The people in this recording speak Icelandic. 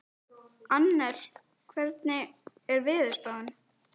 Annel, hvernig er veðurspáin?